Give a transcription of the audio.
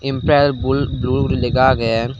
empral bul blue gori lega age.